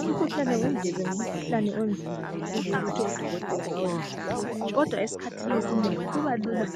Umkhuhlane wendlebe unzima kakhulu ukuthi odokotela bawelaphe, kodwa esikhathini esinengi kubalula